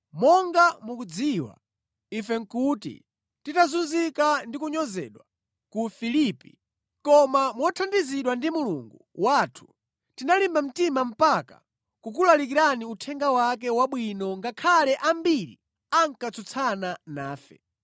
Monga mukudziwa, ife nʼkuti titazunzika ndi kunyozedwa ku Filipi. Koma mothandizidwa ndi Mulungu wathu, tinalimba mtima mpaka kukulalikirani uthenga wake wabwino ngakhale ambiri ankatsutsana nafe.